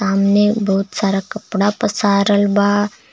सामने बहुत सारा कपड़ा पसारल बा।